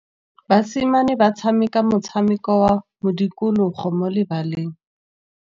Basimane ba tshameka motshameko wa modikologô mo lebaleng.